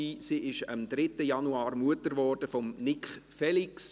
Sie wurde am 3. Januar Mutter von Nik Felix.